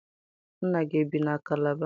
Nna gị ebi na Kalaba?